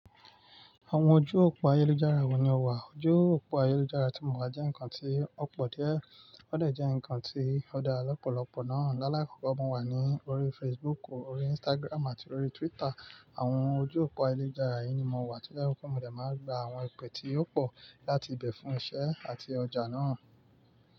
Àwọn ojú òpó ayélujára wo ni o wà? Ojú òpó ayélujára tí mo wa jẹ́ nǹkan tí ó pọ̀ díẹ̀, ó dè jẹ́ ǹkan tí ó dara lọ́pọ̀lọpọ̀ náà. Láàlá kọ̀ko mo wà ní orí Facebook, orí Instagram àti orí Twitter. Àwọn ojú òpó ayélujára yìí ni mo wà to je wipe mo dè má n gba àwọn ìpè tí ó pọ̀ láti ibẹ̀ fún iṣẹ́ àti ọjà náà.